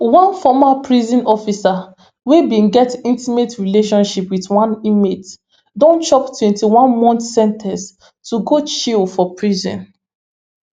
one former prison officer wey bin get intimate relationship wit one inmate don chop twenty-one month sen ten ce to go chill for prison